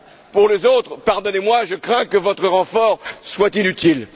Pour les autres, pardonnez moi, je crains que votre renfort soit inutile...